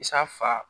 Isaa fa